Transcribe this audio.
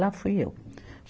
Lá fui eu.